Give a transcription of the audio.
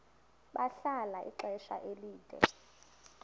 bahlala ixesha elide